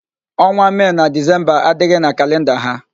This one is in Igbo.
Ọnwa Mee na Dizemba adịghị na kalịnda ha.